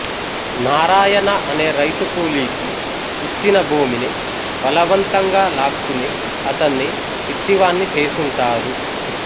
నారాయణ అనే రైతుకూలీకి ఇచ్చిన భూమిని బలవంతంగా లాక్కుని అతన్ని పిచ్చివాణ్ణి చేసుంటారు